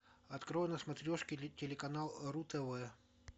открой на смотрешке телеканал ру тв